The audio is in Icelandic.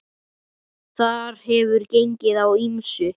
Þar hefur gengið á ýmsu.